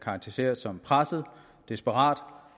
karakteriseres som presset desperat